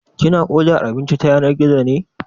Kina odar abinci ta yanar gizo ne?